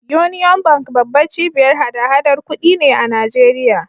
Union Bank babbar cibiyar hada-hadar kuɗi ne a Najeriya.